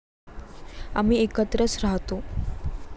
आम्ही एकत्रच राहतो.